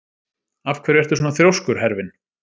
Af hverju ertu svona þrjóskur, Hervin?